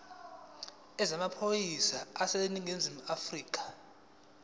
yezamaphoyisa aseningizimu afrika